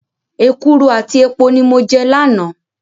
Èkuru àti epo ni mo jẹ lánàá.